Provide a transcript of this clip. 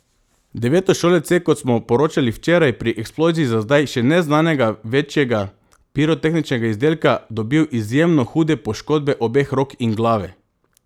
Devetošolec je, kot smo poročali včeraj, pri eksploziji za zdaj še neznanega večjega pirotehničnega izdelka dobil izjemno hude poškodbe obeh rok in glave.